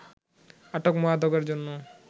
আটক মাদকের মধ্যে